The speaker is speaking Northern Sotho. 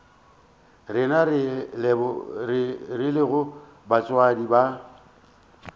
rena re lego batswadi ba